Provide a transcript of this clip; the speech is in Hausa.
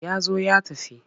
Ya zo ya tafi.